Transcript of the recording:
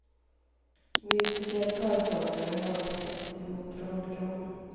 Musiker och körsångare har hon plockat ihop från olika håll.